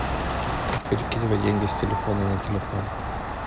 как перекидывать деньги с телефона на телефон